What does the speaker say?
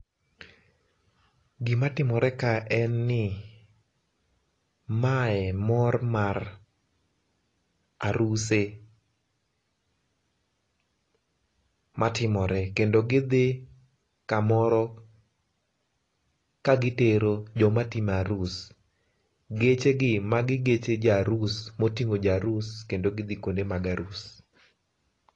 Gima timore ka en ni mae mor mar aruse matimore kendo gidhi kamoro ka gitero joma timo arus, geche gi magi geche jo arus, moting'o ja arus kendo gidhi kuonde mag arus